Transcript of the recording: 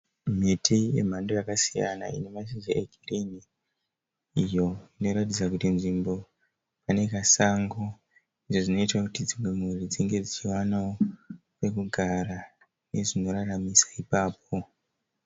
Miti yemhando yakasiyana ine mashizha egirini iyo inoratidza kuti nzvimbo ine kasango uye zvinoita kuti dzimwe mhuri dzinge dzichiwanawo pekugara uye zvinoraramisa ipapo.